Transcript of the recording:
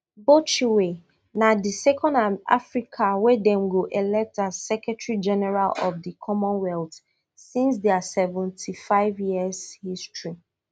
botchwey na di second africa wey dem go elect as secretary general of di commonwealth since dia seventy-five years history